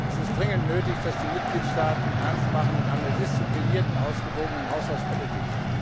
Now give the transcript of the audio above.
Es ist dringend nötig, dass die Mitgliedstaaten Ernst machen mit einer disziplinierten, ausgewogenen Haushaltspolitik.